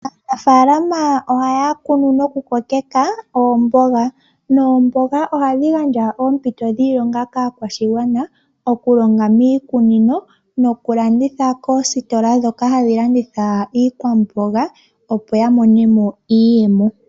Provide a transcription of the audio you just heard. Aanafaalama ohaya kunu noku kokeka oomboga, noomboga ohadhi gandja oompito dhiilonga kaakwashigwana okulonga miikunino nokulanditha koositola ndhoka hadhi landitha iikwamboga opo ya mone mo iiyemo.